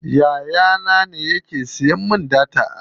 Yaya na ne yake siya min data a waya.